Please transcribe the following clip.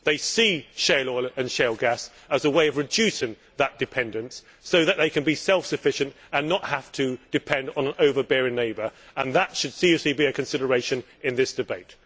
They see shale oil and shale gas as a way of reducing that dependence, so that they can be self sufficient and not have to depend on an overbearing neighbour, and that should seriously be a consideration in this debate.